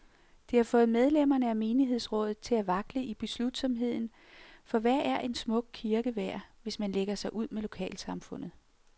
Det har fået medlemmerne af menighedsrådet til at vakle i beslutsomheden, for hvad er en smuk kirke værd, hvis man lægger sig ud med lokalsamfundet.